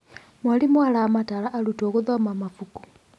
Mwarimũ aramataara arutwo gũthoma mabuku.